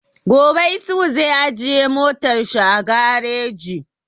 Gobe Isuhu zai ajiye motar shi a gareji